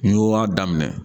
N'i y'o y'a daminɛ